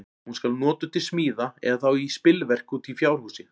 Hún skal notuð til smíða, eða þá í spilverk úti í fjárhúsi.